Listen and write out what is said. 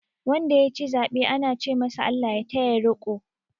Wanda ya ci zaɓe ana ce masu "ALLAH ya taya riko".